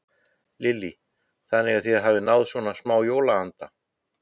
Lillý: Þannig að þið hafið náð svona smá jólaanda?